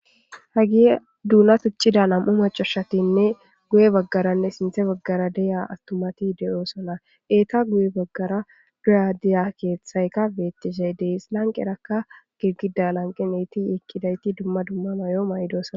hagi duuna tuccida nam7u macushatinne guye baggaranne sinthe baggara deya astumati de7osana eeta guye baggara duradiya keeththayka beettishey dees lanqerakka girgida lanqeneyti yekkidayti dumma dumma mayo may7dosana